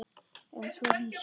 Um þúsund segir